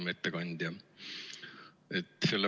Hea ettekandja!